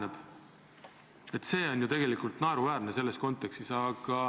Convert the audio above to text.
See on selles kontekstis ju tegelikult naeruväärne.